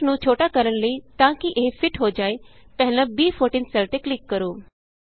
text ਨੂੰ ਛੋਟਾ ਕਰਨ ਲਈ ਤਾਂ ਕਿ ਇਹ ਫਿਟ ਹੋ ਜਾਏ ਪਹਿਲਾਂ ਬੀ14 ਸੈੱਲ ਤੇ ਕਲਿਕ ਕਰੋ